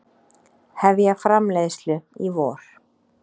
Hefja framleiðslu í vor